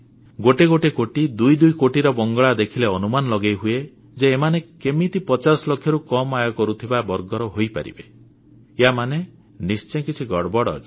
ଗୋଟେଗୋଟେ କୋଟି ଦୁଇଦୁଇ କୋଟିର ବଙ୍ଗଳା କୋଠା ଦେଖିଲେ ଅନୁମାନ ଲଗେଇହୁଏ ଯେ ଏମାନେ କେମିତି 50 ଲକ୍ଷରୁ କମ୍ ଆୟ କରୁଥିବା ବର୍ଗର ହେଇପାରିବେ ୟାମାନେ ନିଶ୍ଚେ କିଛି ଗଡ଼ବଡ଼ ଅଛି